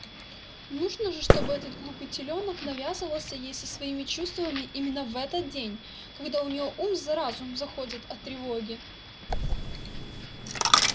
нужно же чтобы этот глупый телёнок навязывался ей со своими чувствами именно в этот день когда у неё ум за разум заходит от тревоги